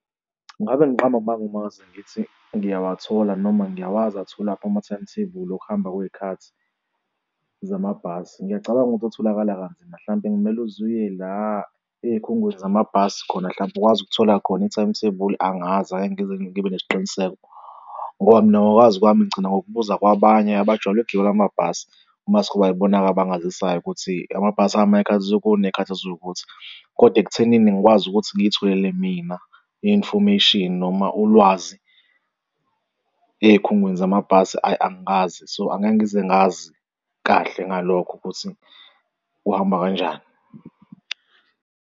Ngabe ngiqamba amanga uma ngase ngithi ngiyawathola noma ngiyawazi atholwaphi ama-time table okuhamba kwey'khathi zamabhasi. Ngiyacabanga ukuthi atholakala kanzima, hlampe kumele uze uye la ey'khungweni zamabhasi khona hlampe ukwazi ukuthola khona i-timetable angazi angeke ngize ngibe nesiqiniseko ngoba mina ngokwazi kwami ngigcina ngokubuza kwabanye abajwayele ukugibela amabhasi mase kube ibona-ke abangazisayo ukuthi amabhasi, ahamba ngey'khathi ezuwukuthi ngey'khathi eziwukuthi. Kodwa ekuthenini ngikwazi ukuthi ngizitholele mina i-information noma ulwazi ey'khungweni zamabhasi ayi, angikaze so angeke ngize ngazi kahle ngalokho ukuthi kuhamba kanjani.